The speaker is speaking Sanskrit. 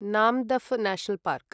Namdapha National park